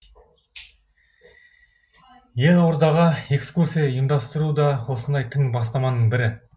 елордаға экскурсия ұйымдастыру да осындай тың бастаманың бірі